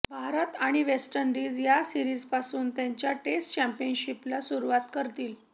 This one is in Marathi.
भारत आणि वेस्ट इंडिज या सीरिजपासून त्यांच्या टेस्ट चॅम्पियनशीपला सुरुवात करतील